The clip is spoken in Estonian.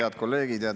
Head kolleegid!